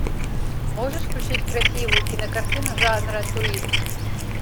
можешь включить красивую кинокартину жанра туризм